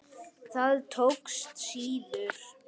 Það tókst síður.